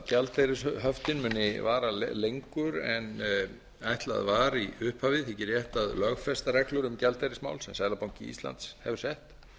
gjaldeyrishöftin muni vara lengur en ætlað var í upphafi þykir rétt að lögfesta reglur um gjaldeyrismál sem seðlabanki íslands hefur sett